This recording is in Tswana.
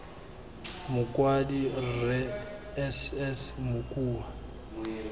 mokwadi rre s s mokua